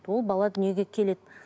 ол бала дүниеге келеді